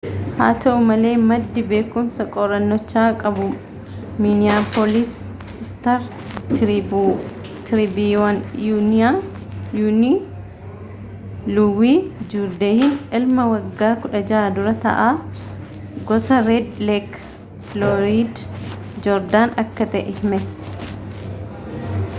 haa ta'u malee maddii beekumsa qorrannochaa qabu miniyaapoolis istaar-tiriibiyuunii luuwii juurdeeyin ilma waggaa 16 dura-ta'aa gosaa reed leek filooyid joordaan akka ta'e hime